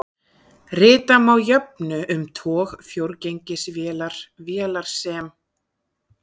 Rita má jöfnu um tog fjórgengisvélar vélar sem